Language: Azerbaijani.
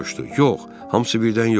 Yox, hamısı birdən yox.